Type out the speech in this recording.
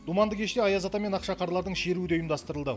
думанды кеште аяз ата мен ақшақарлардың шеруі де ұйымдастырылды